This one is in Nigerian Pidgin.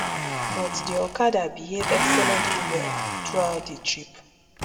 but di okada behave excellently well throughout di trip